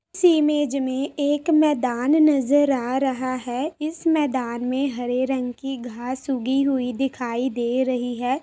इस इमेज में एक मैदान नज़र आ रहा है इस मैदान में हरे रंग की घास उगी हुई दिखाई दे रही है ।